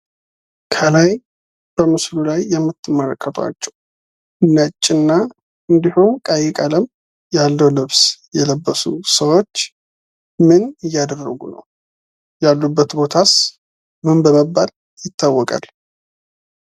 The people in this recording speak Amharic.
ከላይ በምስሉ ላይ የምትመለከቷቸው ነጭና እንድሁም ቀይ ቀለም ያለው ልብስ የለበሱ ሰዎች ምን እያደረጉ ነው? ያሉበት ቦታስ ምን በመባል ይታወቃል?